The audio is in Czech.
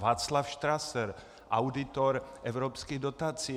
Václav Štraser, auditor evropských dotací.